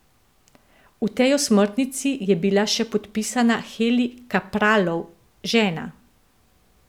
V tej osmrtnici je bila še podpisana Heli Kapralov, žena.